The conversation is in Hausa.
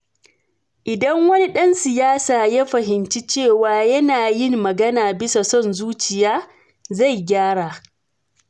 Idan wani dan siyasa ya fahimci cewa yana yin magana bisa son zuciya, zai gyara.